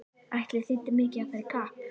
Ætli þýddi mikið að fara í kapp!